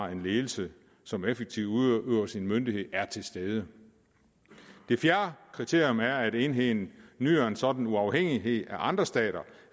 en ledelse som effektivt udøver sin myndighed er til stede det fjerde kriterium er at enheden nyder en sådan uafhængighed af andre stater